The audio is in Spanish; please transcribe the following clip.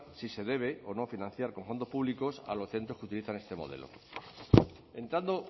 si se debe o no financiar con fondos públicos a los centros que utilizan este modelo entrando